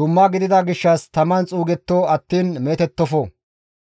dumma gidida gishshas taman xuugetto attiin meetettofo.